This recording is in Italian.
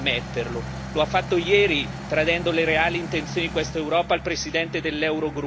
Mi appello alla poca onestà intellettuale che ancora vi è rimasta e vi invito ad ammetterlo.